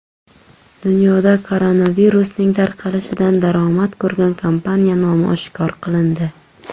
Dunyoda koronavirusning tarqalishidan daromad ko‘rgan kompaniya nomi oshkor qilindi.